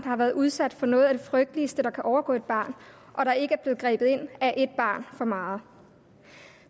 har været udsat for noget af det frygteligste der kan overgå et barn hvor der ikke er blevet grebet ind er et barn for meget